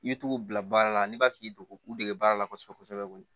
I bɛ t'o bila baara la n'i b'a fɛ k'i degu u dege baara la kosɛbɛ kosɛbɛ koyi